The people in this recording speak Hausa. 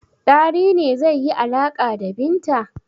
Dari ne zai yi alaƙa da Binta.